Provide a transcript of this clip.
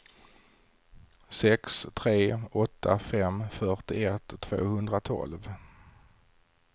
sex tre åtta fem fyrtioett tvåhundratolv